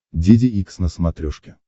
деде икс на смотрешке